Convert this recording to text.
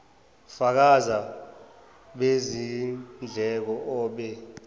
fakazi bezindleko obe